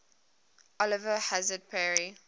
oliver hazard perry